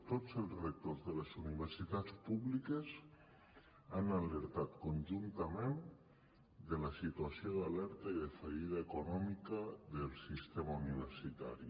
tots els rectors de les universitats públiques han alertat conjuntament de la situació d’alerta i de fallida econòmica del sistema universitari